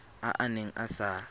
a a neng a sa